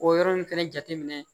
O yɔrɔ ninnu fɛnɛ jateminɛ